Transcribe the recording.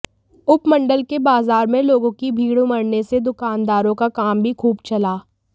उपमंडल के बाजार में लोगों की भीड़ उमड़ने से दुकानदारों का काम भी खूब चला